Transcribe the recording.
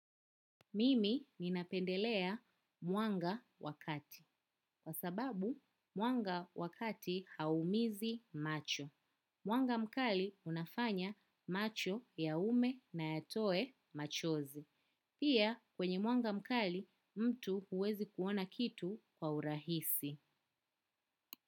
Mimi ninapendelea mwanga wa kati. Kwa sababu, mwanga wa kati hauumizi macho. Mwanga mkali unafanya macho yaume na yatoe machozi. Pia kwenye mwanga mkali mtu huwezi kuona kitu kwa urahisi.